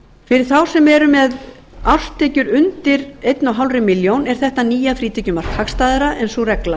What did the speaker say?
fyrir þá sem eru með árstekjur undir eins og hálfa milljón króna er þetta nýja frítekjumark hagstæðara en sú regla